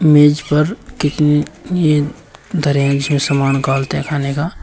मेज पर ये धरे हैं जिसमे सामान काल तैखाने का।